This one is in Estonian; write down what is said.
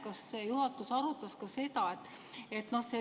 Kas juhatus arutas ka seda?